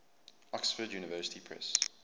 oxford university press